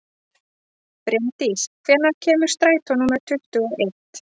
Brimdís, hvenær kemur strætó númer tuttugu og eitt?